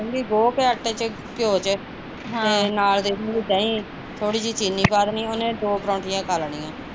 ਗੋਹ ਕੇ ਆਟੈ ਚ ਘਿਓ ਚ ਅਹ ਤੇ ਨਾਲ਼ ਦੇ ਦਿੰਦੀ ਦਹੀਂ ਥੋੜੀ ਜਹੀ ਚੀਨੀ ਪਾ ਦੇਣੀ ਉਹਨੇ ਦੋ ਪਰੋਂਠਿਆਂ ਖਾ ਲੈਣੀਆ